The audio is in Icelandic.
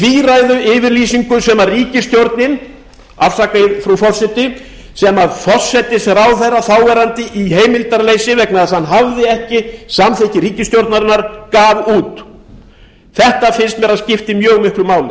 tvíræðu yfirlýsingu sem ríkisstjórnin afsakið frú forseti sem forsætisráðherra þáverandi í heimildarleysi vegna þess að hann hafði samþykki ríkisstjórnarinnar gaf út mér finnst þetta skipta mjög miklu máli